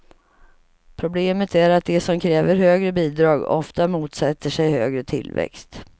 Problemet är att de som kräver högre bidrag ofta motsätter sig högre tillväxt.